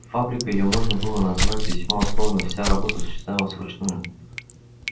фабрикой её можно было назвать весьма условно вся работа осуществлялась вручную